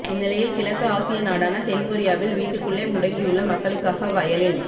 இந்நிலையில் கிழக்கு ஆசிய நாடான தென்கொரியாவில் வீட்டுக்குள்ளே முடங்கியுள்ள மக்களுக்காக வயலின்